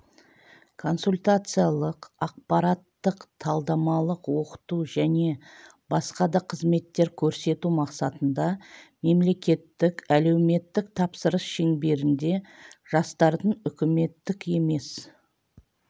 консультациялық ақпараттық-талдамалық оқыту және басқа да қызметтер көрсету мақсатында мемлекеттік әлеуметтік тапсырыс шеңберінде жастардың үкіметтік емес